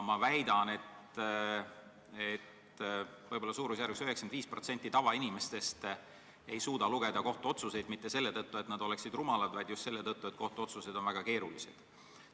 Ma väidan, et võib-olla 95% tavainimestest ei suuda kohtuotsuseid lugeda, ja mitte selle tõttu, et nad oleksid rumalad, vaid just selle tõttu, et kohtuotsused on väga keerulised.